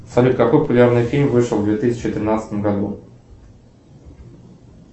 салют какой популярный фильм вышел в две тысячи тринадцатом году